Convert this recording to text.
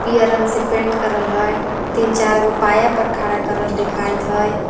पियर रंग से पेंट करल हय तीन चार गो पाया पर खड़ा करल देखात हय।